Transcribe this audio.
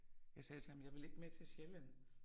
Jeg sagde ham jeg vil ikke med til Sjælland